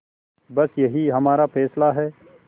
बस यही हमारा फैसला है